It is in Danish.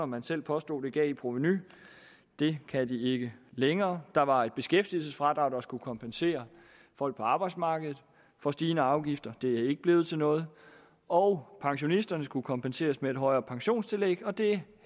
man selv påstod det gav i provenu det kan de ikke længere der var et beskæftigelsesfradrag der skulle kompensere folk på arbejdsmarkedet for stigende afgifter det er ikke blevet til noget og pensionisterne skulle kompenseres med et højere pensionstillæg og det